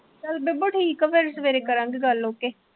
ਚੱਲ ਬੇਬੇ ਠੀਕ ਐ ਫਿਰ ਸਵੇਰੇ ਕਰਾਂਗੇ ਗੱਲ ਫਿਰ ਠੀਕ ਐ